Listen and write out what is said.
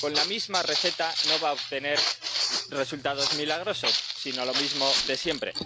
Con la misma receta no van a obtener resultados milagrosos, sino lo mismo de siempre.